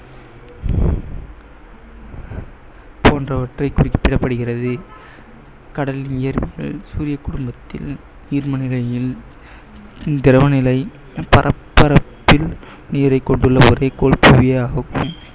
போன்றவற்றை குறிப்பிடப்படுகிறது. கடல் சூரிய குடும்பத்தில் நீர்ம நிலையில் திரவநிலை நீரை கொண்டுள்ள